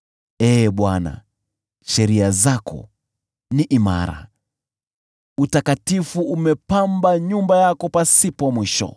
Ee Bwana , sheria zako ni imara; utakatifu umepamba nyumba yako pasipo mwisho.